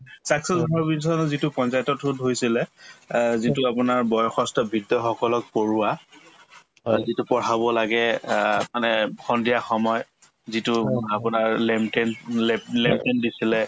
saakshar bharat mission ৰ যিটো পঞ্চায়তৰ through ত হৈছিলে অ যিটো আপোনাৰ বয়সস্থ বৃদ্ধসকলক পঢ়োৱা যিটো পঢ়াব লাগে অ মানে সন্ধিয়া সময় যিটো মোক আপোনাৰ দিছিলে